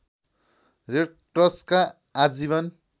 रेडक्रसका आजीवन